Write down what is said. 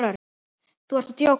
Þú ert að djóka?